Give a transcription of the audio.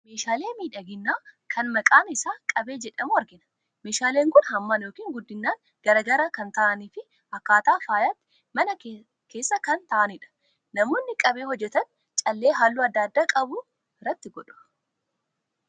Meeshaalee miidhaginaa kan maqaan isaanii qabee jedhamu argina. Meeshaaleen kun hammaan yookiin guddinaan gargar kan ta'anii fi akka faayaatti mana keessa kan taa'anidha. Namoonni qabee hojjetan callee halluu adda addaa qabu itti godhu.